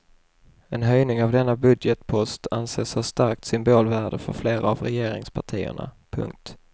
En höjning av denna budgetpost anses ha starkt symbolvärde för flera av regeringspartierna. punkt